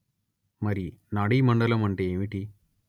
మరి నాడీ మండలం అంటే ఏమిటి